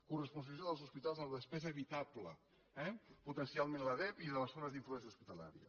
coresponsabilització dels hospitals en la despesa evitable potencialment la dep i de les zones d’influència hospitalària